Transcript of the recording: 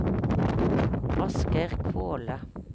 Asgeir Kvåle